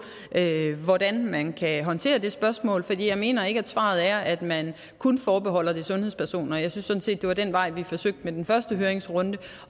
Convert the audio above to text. hvordan man kan håndtere det spørgsmål for jeg mener ikke at svaret er at man kun forbeholder det sundhedspersoner jeg synes at det var den vej vi forsøgte at gå i den første høringsrunde